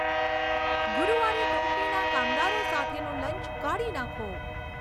ગુરુવારે કંપનીના કામદારો સાથેનું લંચ કાઢી નાંખો